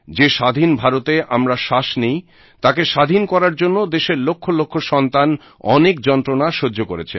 যে স্বাধীন ভারতে আমরা শ্বাস নিই তাকে স্বাধীন করার জন্য দেশের লক্ষ লক্ষ সন্তান অনেক যন্ত্রণা সহ্য করেছেন